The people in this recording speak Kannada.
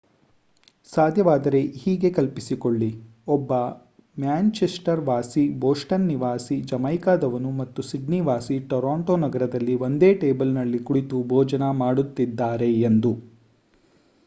ಸಾಧ್ಯವಾದರೆ ಹೀಗೆ ಕಲ್ಪಿಸಿಕೊಳ್ಳಿ ಒಬ್ಬ ಮ್ಯಾನ್‍‌ಚೆಸ್ಟರ್ ವಾಸಿ ಬೊಸ್ಟನ್ ನಿವಾಸಿ ಜಮೈಕಾದವನು ಮತ್ತು ಸಿಡ್ನಿ ವಾಸಿ ಟೋರಾಂಟೋ ನಗರದಲ್ಲಿ ಒಂದೇ ಟೇಬಲ್‌ನಲ್ಲಿ ಕುಳಿತು ರಾತ್ರಿ ಭೋಜನ ಮಾಡುತ್ತಿದ್ದಾರೆ ಎಂದು